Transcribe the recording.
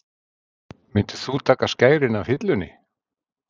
Myndir þú taka skærin af hillunni?